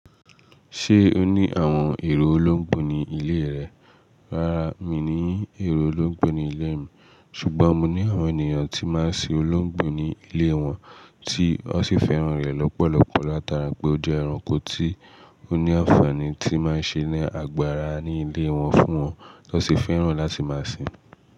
Ṣé o ní àwọn èrò olóńgbò ní ilé rẹ? Rárá, mi ní è olóńgbò ní ilé mi, ṣùgbọ́n mo ní àwọn ènìyàn tí máa ń sin olóńgbò ní ilé wọn tí wọ́n sì fẹ́ràn rẹ̀ lọ́pọ̀lọpọ̀ látara pé ó jẹ́ ẹranko tí ó ní ànfàní tí máa ń ṣe ni agbára ní ilé wọn fún wọn, tan sì fẹ́ràn láti máa sin ín.